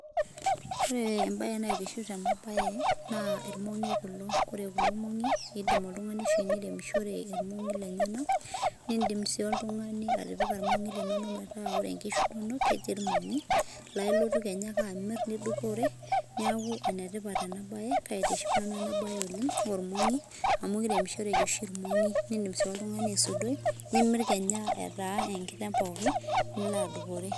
Ore entoki naitiship tena baye naa irmongi kulo indim oltungani airemishore nindim sii oltungani atipika inkishu inonok metaa ketii irmongi piimir ake tenkae rishata nidupore neeku kaitisip nanu ena baye oleng amu ene tipa naa ene dupoto sii